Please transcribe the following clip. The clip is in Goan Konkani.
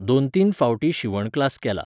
दोन तीन फावटीं शिंवण क्लास केला.